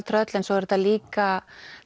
tröll svo er þetta líka